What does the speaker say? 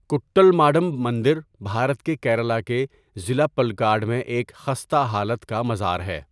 کٹّل ماڈم مندر بھارت کے کیرلا کے ضلع پلکاڈ میں ایک خستہ حالت کا مزار ہے۔